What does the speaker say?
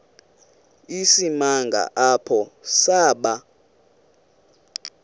isimanga apho saba